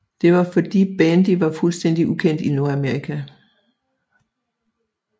Det var fordi bandy var fuldstændig ukendt i Nordamerika